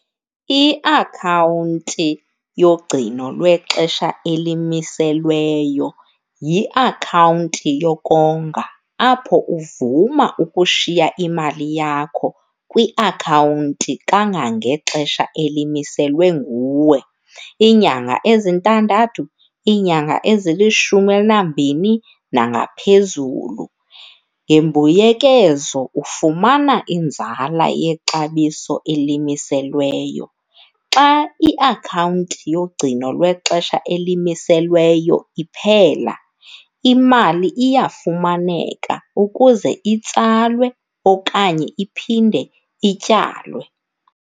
Iakhawunti yogcino lwexesha elimiselweyo yiakhawunti yokonga apho uvuma ukushiya imali yakho kwiakhawunti kangangexesha elimiselwe nguwe, iinyanga ezintandathu, iinyanga ezilishumi elinambini nangaphezulu. Ngembuyekezo ufumana inzala yexabiso elimiselweyo. Xa iakhawunti yogcino lwexesha elimiselweyo iphela, imali iyafumaneka ukuze itsalwe okanye iphindwe ityalwe.